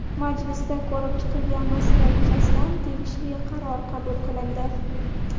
Majlisda ko‘rib chiqilgan masala yuzasidan tegishli qaror qabul qilindi.